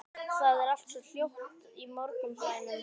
Það er allt svo hljótt í morgunblænum.